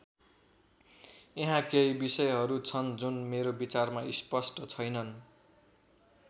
यहाँ केही विषयहरू छन् जुन मेरो विचारमा स्पष्ट छैनन्।